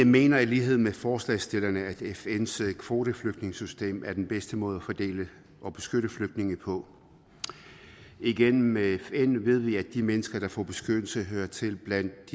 vi mener i lighed med forslagsstillerne at fns kvoteflygtningesystem er den bedste måde at fordele og beskytte flygtninge på igennem fn ved vi at de mennesker der får beskyttelse hører til blandt